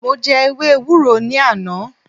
Mo jẹ ewé ewúro ní àná